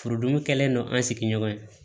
Furudimi kɛlen don an sigiɲɔgɔn ye